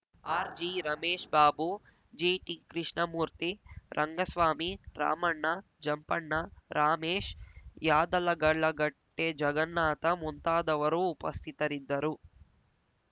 ಆರ್‌ಜಿ Ramesh Babu G T Krishnamurthy Rangaswamy Ramanna Jampanna Ramesh Yadagalagatte Jagannatha ಮುಂತಾದವರು ಉಪಸ್ಥಿತರಿದ್ದರು